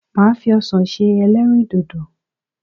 Màá fi ọsàn se ẹlẹ́rìndòdò.